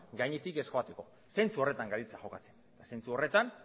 gainetik ez joateko zentzu horretan gabiltza jokatzen eta zentzu horretan